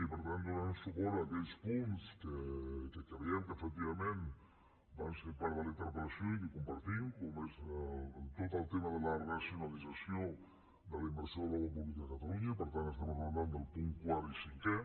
i per tant donarem suport a aquells punts que creiem que efectivament van ser part de la interpel·lació i que compartim com és tot el tema de la racionalització de la inversió en obra pública de catalunya i per tant estem enraonant del punt quart i cinquè